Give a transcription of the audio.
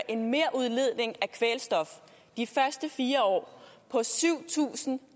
en merudledning af kvælstof de første fire år på syv tusind